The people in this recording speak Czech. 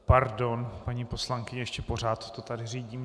Pardon, paní poslankyně, ještě pořád to tu řídím.